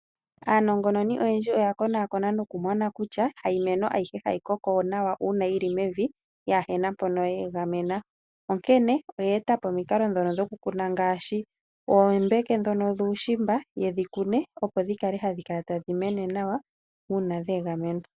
Aanongonongoni oyendji oya konakona nokumona kutya hayimeno ayihe hayi koko nawa uuna yi li mevi yaa he na mpono ya egamena. Onkene oye eta po omikalo dhokukuna ngaashi oombeke dhuushimba ye dhi kune, opo dhi kale hadhi mene nawa uuna dhe egamena.